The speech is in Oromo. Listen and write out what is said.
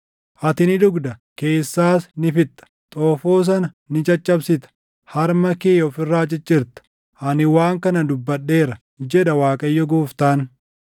Ati ni dhugda; keessaas ni fixxa; xoofoo sana ni caccabsita; harma kee of irraa ciccirta. Ani waan kana dubbadheera, jedha Waaqayyo Gooftaan.